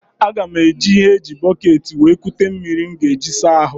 Aga m eji ihe eji bọkeeti wee kute mmiri m ga eji saa ahụ.